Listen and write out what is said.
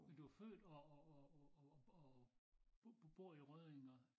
Men du er født og og og og bor i Rødding og